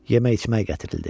Yemək-içmək gətirildi.